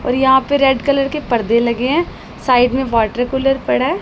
और यहां पे रेड कलर के पर्दे लगे हैं साइड में वाटर कूलर पड़ा है।